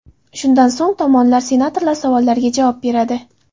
Shundan so‘ng tomonlar senatorlar savollariga javob beradi.